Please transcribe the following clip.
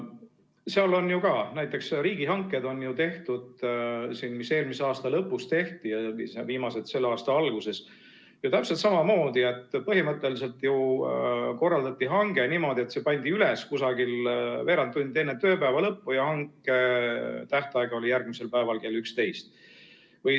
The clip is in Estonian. Seal on ju ka näiteks riigihankeid tehtud, mis eelmise aasta lõpus tehti ja viimased selle aasta alguses, täpselt samamoodi, et põhimõtteliselt korraldati hange niimoodi, et see pandi üles umbes veerand tundi enne tööpäeva lõppu ja hanke tähtaeg oli järgmisel päeval kell 11.